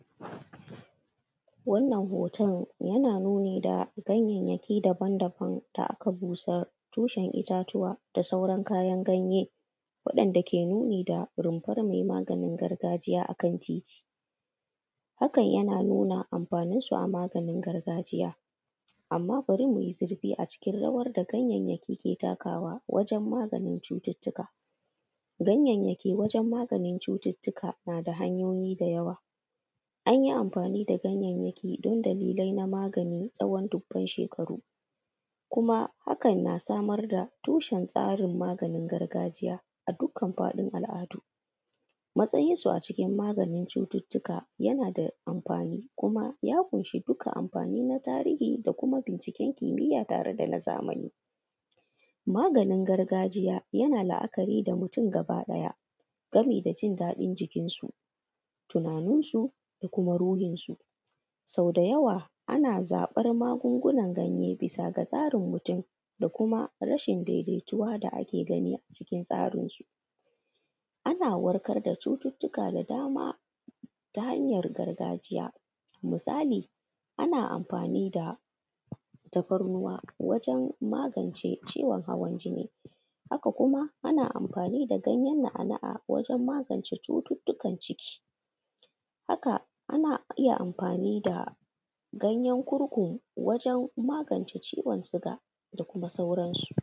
Wannan hoton yana nuni da ganyeyeki daban-daban da aka busar, tushen itatuwa da sauran kayan ganye waɗanda ke nuni da rumbur mai maganin gargajiya a kan titi, hakan yana nuna amfanin su a maganin gargajiya, amma bari mu yi zurfi a cikin rawar da ganyayeki ke takarawa wajen maganin cututuka, ganyenyeki wajen maganin cututuka ta hanyoyi da yawa an yi amfani da ganyeyeki dan dalilan na magani. Tsawon duban shekaru kuma hakan na samar da tushen tsarin maganin gargajiya a dukan faɗin al’adu, matsayinsu a cikin maganin cututuka yana da amfani kuma ya ƙunshi dukan amfani na tarihi da kuma binciken kimiya tare da na zamani. Maganin gargajiya yana la’akari da mutum gabaɗaya gami da jin ɗadin jikinsu, tunaninsu ko kuma ruhinsu, sau da yawa ana zaɓar magungunan ganye bisa ga tsarin mutum da kuma rashin daidaituwa da ake gani a cikin tsarin su, ana warkar da cututuka da dama ta hanyar gargajiya musali, ana amfani da tafarnuwa wajen magance ciwon hawan jini haka kuma ana iya amfani da ganyen kurku wajen magance ciwon sugar da kuma sauransu.